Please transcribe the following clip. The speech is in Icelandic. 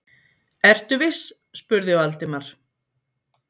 Ertu viss? spurði Valdimar.